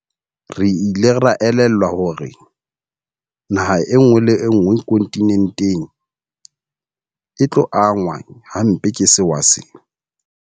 Re ile ra elellwa hore naha enngwe le enngwe kontinenteng e tlo angwa hampe ke sewa sena.